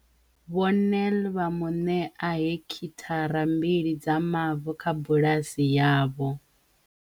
Vho Nel vha mu ṋea hekithara mbili dza mavu kha bulasi yavho.